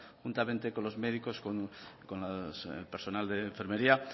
conjuntamente con los médicos con el personal de enfermería